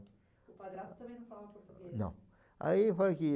O padrasto também não falava português? Não, aí falei que